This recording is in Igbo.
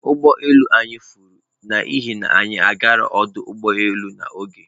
Ụgbọ elu anyị furu n'ihi na anyị gara ọdụ ụgbọ elu n'oge.